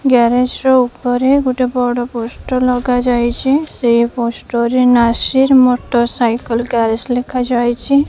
Garage ର ଉପରେ ଗୋଟେ ବଡ ପୋଷ୍ଟର ଲାଗିଯାଇଚି ସେଇ ପୋଷ୍ଟର ରେ ନାସିର ମୋଟର ସାଇକେଲ ଗ୍ୟାରେଜ ଲେଖାଯାଇଚି ।